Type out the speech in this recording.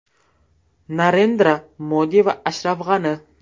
Narendra Modi va Ashraf G‘ani.